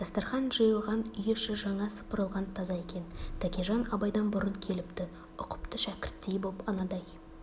дастарқан жиылған үй іші жаңа сыпырылған таза екен тәкежан абайдан бұрын келіпті ұқыпты шәкірттей боп анадай